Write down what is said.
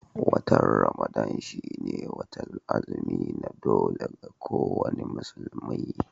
Watan Ramadan shi ne watar azumi na dole ga ko wani musulmi